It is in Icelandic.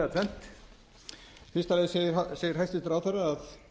fyrsta lagi segir hæstvirtur ráðherra að